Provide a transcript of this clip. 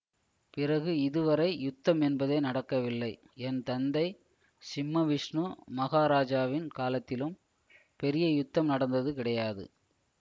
பிறகு இதுவரை யுத்தம் என்பதே நடக்கவில்லை என் தந்தை சிம்மவிஷ்ணு மகாராஜாவின் காலத்திலும் பெரிய யுத்தம் நடந்தது கிடையாது